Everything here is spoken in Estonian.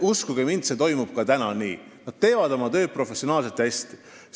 Uskuge mind, see on ka praegu nii, et nad teevad oma tööd professionaalselt ja hästi.